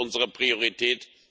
Das ist unsere Priorität.